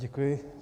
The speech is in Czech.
Děkuji.